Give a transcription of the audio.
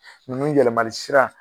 Nunnu yɛlɛmali sira.